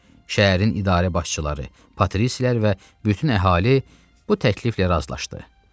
Şəhərin idarə başçıları, Patrislər və bütün əhali bu təkliflə razılaşdı.